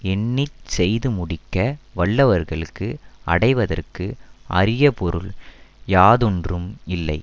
எண்ணி செய்து முடிக்க வல்லவர்களுக்கு அடைவதற்கு அரிய பொருள் யாதொன்றும் இல்லை